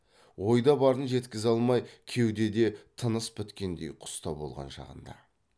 ойда барын жеткізе алмай кеудеде тыныс біткендей құста болған шағында